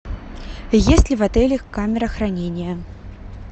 есть ли в отеле камера хранения